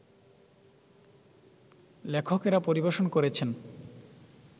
লেখকেরা পরিবেশন করেছেন